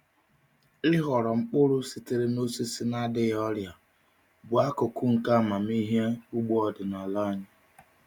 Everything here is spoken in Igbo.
Ịhọrọ mkpụrụ sitere n’osisi na-adịghị ọrịa bụ akụkụ nke amamihe ugbo ọdịnala anyị.